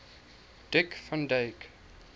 dick van dyke